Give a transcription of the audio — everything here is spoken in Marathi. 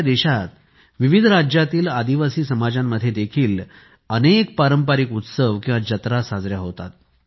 आपल्या देशात विविध राज्यांतील आदिवासी समाजांमध्ये देखील अनेक पारंपारिक उत्सव किंवा जत्रा साजऱ्या होतात